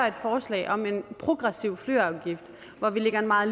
et forslag om en progressiv flyafgift hvor vi lægger en meget